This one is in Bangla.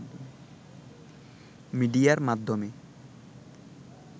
মিডিয়ার মাধ্যমে